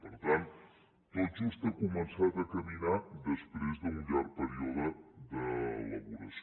per tant tot just ha començat a caminar després d’un llarg període d’elaboració